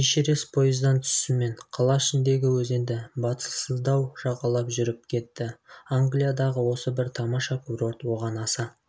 эшерест пойыздан түсісімен қала ішіндегі өзенді батылсыздау жағалап жүріп кетті англиядағы осы бір тамаша курорт оған аса